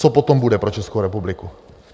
Co potom bude pro Českou republiku?